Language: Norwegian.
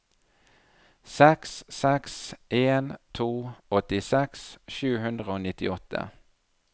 seks seks en to åttiseks sju hundre og nittiåtte